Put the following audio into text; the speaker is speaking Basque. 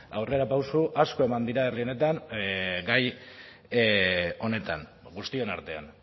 aurrerapauso asko eman dira herri honetan gai honetan guztion artean